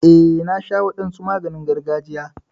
Eh, na sha wadansu maganin gargajiya.